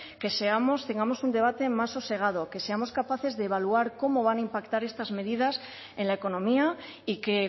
que tengamos un debate más sosegado que seamos capaces de evaluar cómo van a impactar estas medidas en la economía y que